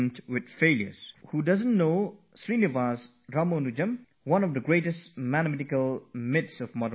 Who doesn't know of Srinivas Ramanujam, one of the greatest names among modern Indian mathematicians